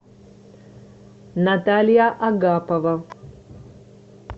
наталья агапова